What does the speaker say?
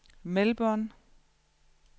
Melbourne